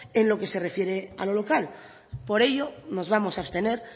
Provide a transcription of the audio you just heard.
en lo que se refiere a lo local por ello nos vamos a abstener